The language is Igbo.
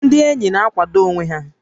Ndị ényì na-àkwàdó onwé ha